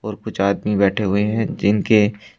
और कुछ आदमी बैठे हुए हैं जिनके--